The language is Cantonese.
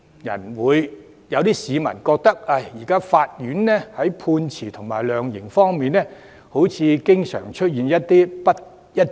也有市民覺得，現在法院在判決和量刑方面經常出現不一致。